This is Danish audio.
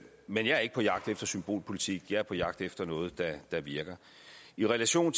men jeg er ikke på jagt efter symbolpolitik jeg er på jagt efter noget der virker i relation